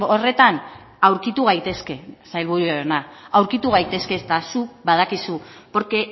horretan aurkitu gaitezke sailburu jauna aurkitu gaitezke eta zuk badakizu porque